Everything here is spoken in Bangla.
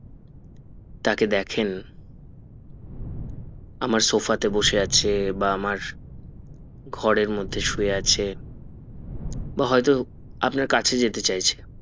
তাকে দেখেন আমার সফা তে বসে আছে বা আমার ঘরের মধ্যে শুয়ে আছে বা হয়তো আপনার কাছে যেতে চাইছে